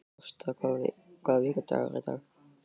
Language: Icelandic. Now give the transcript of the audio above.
Ásta, hvaða vikudagur er í dag?